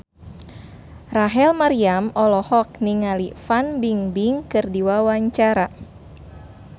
Rachel Maryam olohok ningali Fan Bingbing keur diwawancara